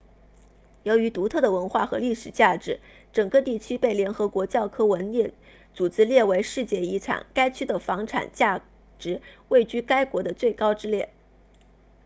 由于独特的文化和历史价值整个地区被联合国教科文组织列为世界遗产该区的房产价值位居该国的最高之列